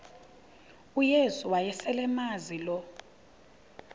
uyesu wayeselemazi lo